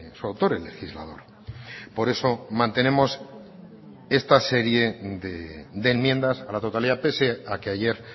su autor el legislador por eso mantenemos esta serie de enmiendas a la totalidad pese a que ayer